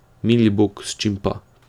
Mili Bog, s čim pa?